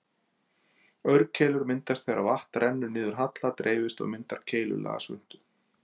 Aurkeilur myndast þegar vatn rennur niður halla, dreifist og myndar keilulaga svuntu.